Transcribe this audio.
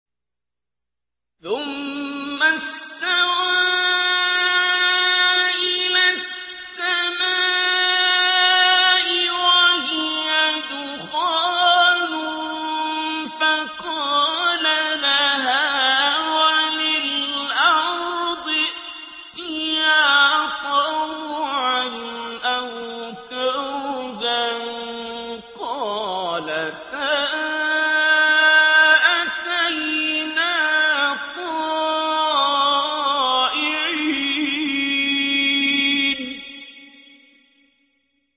ثُمَّ اسْتَوَىٰ إِلَى السَّمَاءِ وَهِيَ دُخَانٌ فَقَالَ لَهَا وَلِلْأَرْضِ ائْتِيَا طَوْعًا أَوْ كَرْهًا قَالَتَا أَتَيْنَا طَائِعِينَ